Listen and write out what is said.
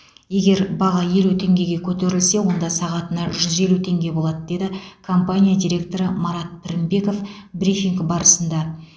егер баға елу теңгеге көтерілсе онда сағатына жүз елу теңге болады деді компания директоры марат пірінбеков брифинг барысында